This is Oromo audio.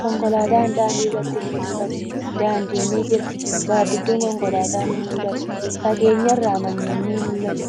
Konkolaatan daandii irratti ni mul'ata. Daandin ni jira. Gaaddidduun konkolaataa ni mul'ata. Fageenya irraa manneen ni mul'atu.